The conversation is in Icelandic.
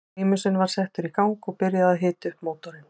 Prímusinn var settur í gang og byrjað að hita upp mótorinn.